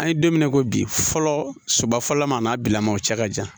An ye don min na i ko bi fɔlɔ soba fɔlɔma an n'a bilala ma o cɛ ka jan